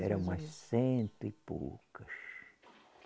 Era umas cento e poucas.